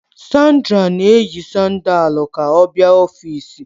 Sandra na-eyi sandaalu ka ọ bịa n'ọfịs